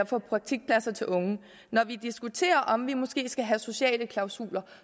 få praktikpladser til unge og når vi diskuterer om vi måske skal have sociale klausuler